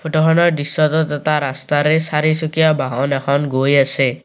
Photo খনৰ দৃশ্যটোত এটা ৰস্তাৰে চাৰিচকীয়া বাহন এখন গৈ আছে।